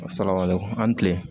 Saraka le an ni kile